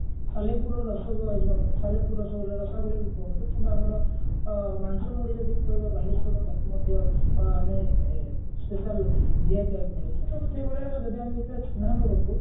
ସାଲେପୁରର ରସଗୋ ଯୋ ସାଲେପୁର ରସଗୋଲା ରସାବଳୀ କୁହନ୍ତୁ କିମ୍ବା ଆମର ଅ ଆମର ମାଂସ ମୁଢି ଯଦି କହିବା ବାଲେଶ୍ଵରର ତାକୁ ମଧ୍ୟ ଆମେ special GI tag ମିଳିଛି ତ ସେଇଭଳିଆ ଯଦି ଆମେ ଦେଖିବା ଛେନାପୋଡ କୁ